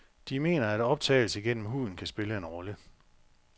De mener, at optagelse gennem huden kan spille en rolle.